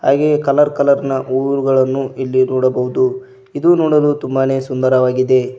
ಹಾಗೆಯೇ colour colour ನ ಹೂವುಗಳನ್ನು ಇಲ್ಲಿ ನೋಡಬಹುದು ಇದು ನೋಡಲು ತುಂಬಾನೇ ಸುಂದರವಾಗಿದೆ.